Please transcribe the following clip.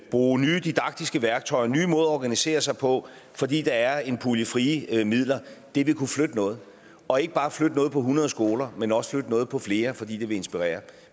bruge nye didaktiske værktøjer nye måder at organisere sig på fordi der er en pulje med frie midler vil kunne flytte noget og ikke bare flytte noget på hundrede skoler men også flytte noget på flere fordi det vil inspirere